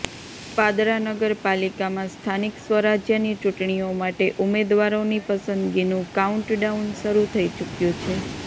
પાદરા નગર પાલિકામાં સ્થાનિક સ્વરાજયની ચૂંટણીઓ માટે ઉમેદવારોની પસંદગીનું કાઉન્ટ ડાઉન શરૃ થઇ ચૂકયું છે